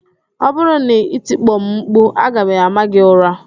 Ọ bụrụ na i tikpo m mkpu, aga m ámá gị ụra